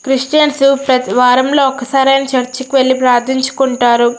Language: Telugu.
క్రిస్టియన్స్ వారంలో ఒక్కసారైనా చర్చికి వెళ్లి ప్రార్థించుకుంటారు.